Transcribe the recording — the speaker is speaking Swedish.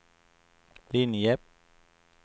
linje